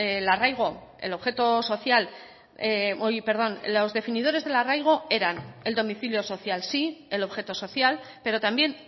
los definidores del arraigo eran el domicilio social sí el objeto social pero también